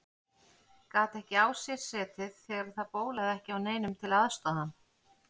Gat ekki á sér setið þegar það bólaði ekki á neinum til að aðstoða hann.